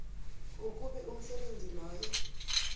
ukube umsebenzi loyo